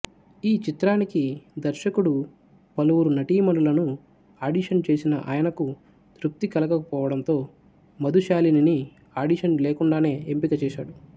ఈ చిత్రానికి దర్శకుడు పలువురు నటీమణులను ఆడిషన్ చేసినా ఆయనకు తృప్తి కలగకపోవడంతో మధుశాలినిని ఆడిషన్ లేకుండానే ఎంపిక చేశాడు